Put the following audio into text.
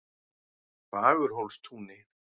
Fagurhólstúni